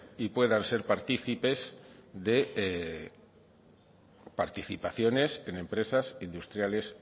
y puedan ser partícipes de participaciones en empresas industriales